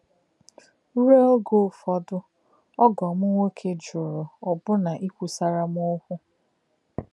Ruo oge Ụ̀fọ́dị̀, ògọ́ m nwọ̀ké jùrù ọbụna íkwusàrà m òkwú.